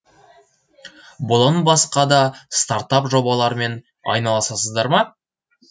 бұдан басқа да стартап жобалармен айналысасыздар ма